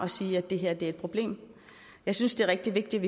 og siger at det her er et problem jeg synes det er rigtig vigtigt